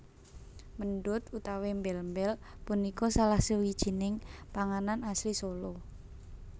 Méndut utawi mbél mbél punika salah sawijining panganan asli Solo